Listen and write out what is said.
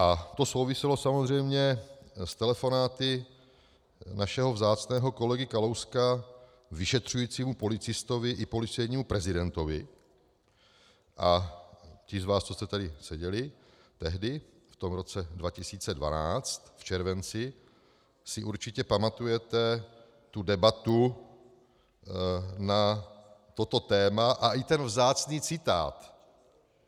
A to souviselo samozřejmě s telefonáty našeho vzácného kolegy Kalouska vyšetřujícímu policistovi i policejnímu prezidentovi, a ti z vás, co jste tady seděli tehdy v tom roce 2012 v červenci, si určitě pamatujete tu debatu na toto téma a i ten vzácný citát.